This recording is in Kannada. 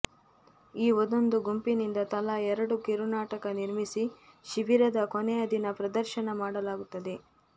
ಈ ಒಂದೊಂದು ಗುಂಪಿನಿಂದ ತಲಾ ಎರಡು ಕಿರುನಾಟಕ ನಿರ್ಮಿಸಿ ಶಿಬಿರದ ಕೊನೆಯ ದಿನ ಪ್ರದರ್ಶನ ಮಾಡಲಾಗುತ್ತದೆ